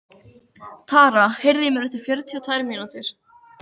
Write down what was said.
Tara, heyrðu í mér eftir fjörutíu og tvær mínútur.